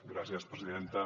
gràcies presidenta